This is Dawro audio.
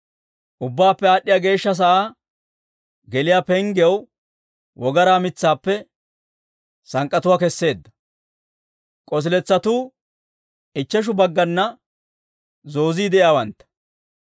Ubbaappe Aad'd'iyaa Geeshsha sa'aa geliyaa penggiyaw wogaraa mitsaappe sank'k'atuwaa keseedda. K'osiletsatuu ichcheshu baggana zoozii de'iyaawantta.